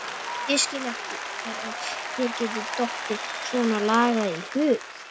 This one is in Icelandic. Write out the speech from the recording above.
Ég skil ekki hvernig þér getur dottið svonalagað í hug!